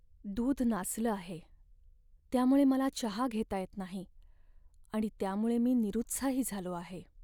दूध नासलं आहे, त्यामुळे मला चहा घेता येत नाही आणि त्यामुळे मी निरुत्साही झालो आहे.